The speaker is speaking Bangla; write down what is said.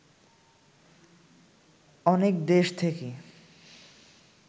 অনেক দেশ থেকে